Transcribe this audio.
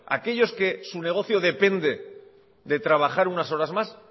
aquellos que su negocio depende de trabajar unas horas más